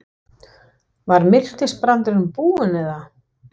Var miltisbrandurinn búinn eða?